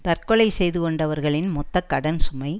தற்கொலை செய்து கொண்டவர்களின் மொத்த கடன் சுமை